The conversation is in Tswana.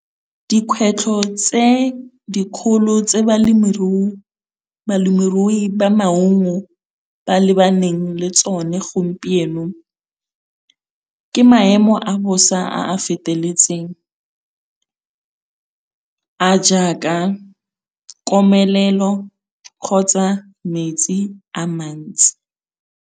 Dikgwetlho tse dikgolo tse balemirui ba maungo ba lebaneng le tsone gompieno, ke maemo a bosa a a feteletseng, a jaaka komelelo kgotsa metsi a mantsi.